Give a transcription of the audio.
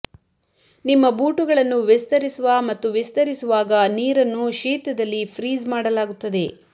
ನಿಮ್ಮ ಬೂಟುಗಳನ್ನು ವಿಸ್ತರಿಸುವ ಮತ್ತು ವಿಸ್ತರಿಸುವಾಗ ನೀರನ್ನು ಶೀತದಲ್ಲಿ ಫ್ರೀಜ್ ಮಾಡಲಾಗುತ್ತದೆ